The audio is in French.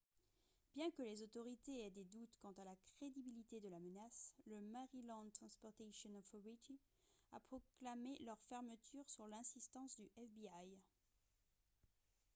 bien que les autorités aient des doutes quant à la crédibilité de la menace le maryland transportation authority a proclamé leur fermeture sous l'insistance du fbi